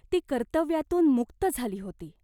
ती कर्तव्यातून मुक्त झाली होती.